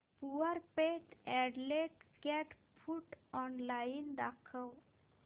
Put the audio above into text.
Purepet adult cat food online दाखव